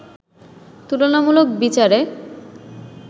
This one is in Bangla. তুলনামুলক বিচারে